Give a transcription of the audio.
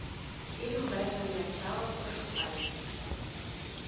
фильм бэтмен начало пошукай